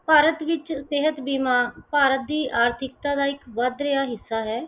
ਭਾਰਤ ਵਿਚ ਸਿਹਤ ਬੀਮਾ ਭਾਰਤ ਦੀ ਆਰਥਿਕਤਾ ਦਾ ਇੱਕ ਵੱਧ ਰਿਹਾ ਹਿੱਸਾ ਹੈ।